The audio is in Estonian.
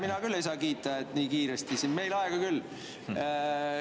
Mina küll ei saa kiita, et nii kiiresti, meil on aega küll.